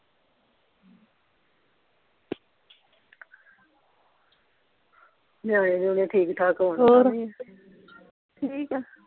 ਨਿਆਣੇ ਨਯੂਨੇ ਠੀਕ ਠਾਕ ਹੋਰ ਠੀਕ ਆ